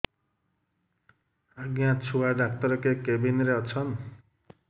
ଆଜ୍ଞା ଛୁଆ ଡାକ୍ତର କେ କେବିନ୍ ରେ ଅଛନ୍